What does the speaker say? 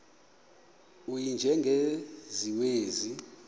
u y njengesiwezi